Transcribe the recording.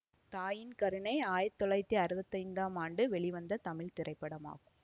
தாயின் கருணை ஆயிரத்தி தொள்ளாயிரத்தி அறுபத்தி ஐந்தாம் ஆண்டு வெளிவந்த தமிழ் திரைப்படமாகும்